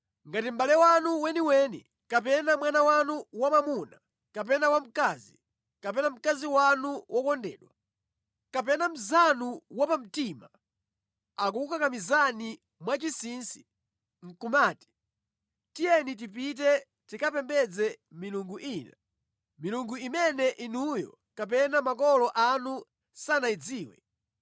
Ngati mʼbale wanu weniweni kapena mwana wanu wamwamuna kapena wamkazi, kapena mkazi wanu wokondedwa, kapena mnzanu wapamtima akukakamizani mwachinsinsi, nʼkumati, “Tiyeni tipite tikapembedze milungu ina” (milungu imene inuyo kapena makolo anu sanayidziwe,